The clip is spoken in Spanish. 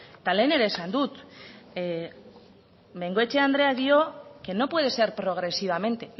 eta lehen ere esan dut bengoechea andreak dio que no puede ser progresivamente